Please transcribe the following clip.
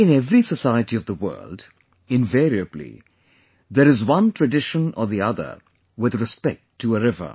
In every society of the world, invariably, there is one tradition or the other with respect to a river